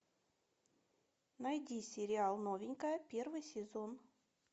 найди сериал новенькая первый сезон